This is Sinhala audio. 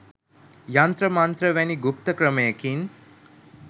යන්ත්‍ර මන්ත්‍ර වැනි ගුප්ත ක්‍රමයකින්